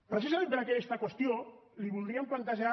precisament per aquesta qüestió li voldríem plantejar